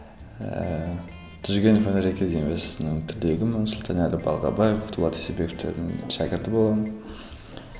ііі жүргенов өнер академиясының түлегімін сұлтанәлі балғабаев дулат исабековтердің шәкірті боламын